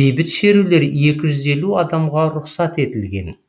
бейбіт шерулер екі жүз елу адамға рұқсат етілген